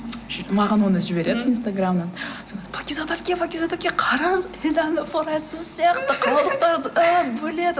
маған оны жібереді инстаграмнан пакизат әпке пакизат әпке қараңыз эльдана форайз сіз сияқты қалдықтарды бөледі